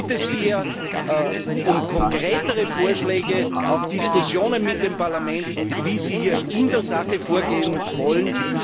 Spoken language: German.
Ich bitte Sie um konkretere Vorschläge, auch Diskussionen mit dem Parlament, wie Sie in der Sache vorgehen wollen.